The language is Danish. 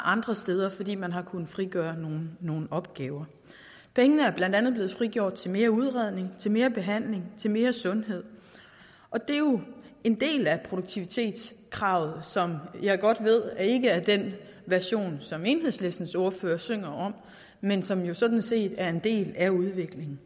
andre steder fordi man har kunnet frigøre nogle opgaver pengene er blandt andet blevet frigjort til mere udredning mere behandling mere sundhed og det er jo en del af produktivitetskravet som jeg godt ved ikke er den version som enhedslistens ordfører synger om men som jo sådan set er en del af udviklingen